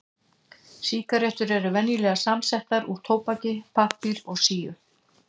Sígarettur eru venjulega samsettar úr tóbaki, pappír og síu.